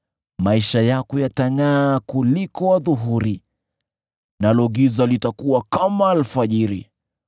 Maisha yako yatangʼaa kuliko adhuhuri, nalo giza litakuwa kama alfajiri.